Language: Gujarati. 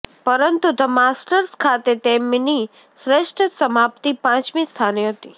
પરંતુ ધ માસ્ટર્સ ખાતે તેમની શ્રેષ્ઠ સમાપ્તિ પાંચમી સ્થાને હતી